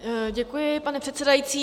Děkuji, pane předsedající.